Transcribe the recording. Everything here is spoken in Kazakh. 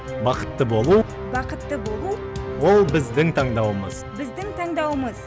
бақытты болу бақытты болу ол біздің таңдауымыз біздің таңдауымыз